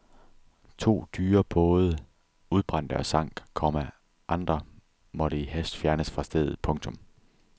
To dyre både udbrændte og sank, komma andre måtte i hast fjernes fra stedet. punktum